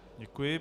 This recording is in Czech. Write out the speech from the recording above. Děkuji.